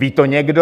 Ví to někdo?